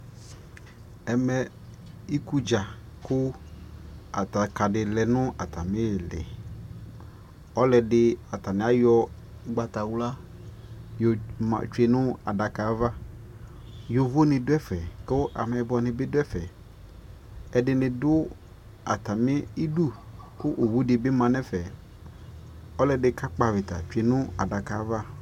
ɛmɛ ikʋ dza kʋ adaka ka di lɛnʋ atami itza kʋalʋɛdi ayɔ ɔgbatawla yɔ twɛnʋ adaka aɣa, yɔvɔ ni dʋ ɛƒɛ kʋ amɛyibɔ nibi dʋ ɛƒɛ, ɛdini dʋ atami idʋ kʋ ɔwʋ dibi manʋ ɛƒɛ, ɔlɔdi ka kpɔ aɣita twɛnʋ adakaɛ aɣa